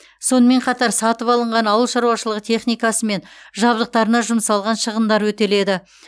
сонымен қатар сатып алынған ауыл шаруашылығы техникасы мен жабдықтарына жұмсалған шығындар өтеледі